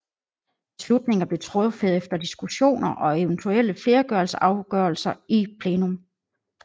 Beslutninger blev truffet efter diskussioner og eventuelle flertalsafgørelser i plenum